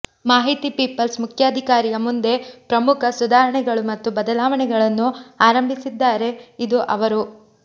ಮಾಹಿತಿ ಪೀಪಲ್ಸ್ ಮುಖ್ಯಾಧಿಕಾರಿಯ ಮುಂದೆ ಪ್ರಮುಖ ಸುಧಾರಣೆಗಳು ಮತ್ತು ಬದಲಾವಣೆಗಳನ್ನು ಆರಂಭಿಸಿದ್ದಾರೆ ಇದು ಅವರು